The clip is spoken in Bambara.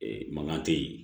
mankan tɛ yen